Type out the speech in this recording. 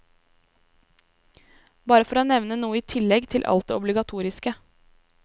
Bare for å nevne noe i tillegg til alt det obligatoriske.